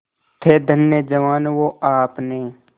थे धन्य जवान वो आपने